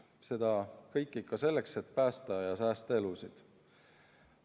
Seda kõike ikka selleks, et päästa ja säästa elusid.